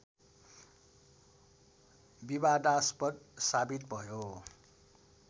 विवादास्पद साबित भयो